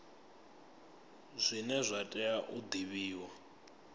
zwine zwa tea u divhiwa